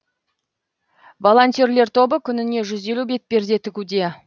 волонтерлер тобы күніне жүз елу бетперде тігуде